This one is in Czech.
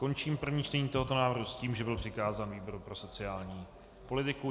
Končím první čtení tohoto návrhu s tím, že byl přikázán výboru pro sociální politiku.